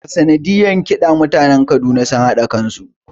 A sanadiyar ƙida mutanen Kaduna sun hada kansu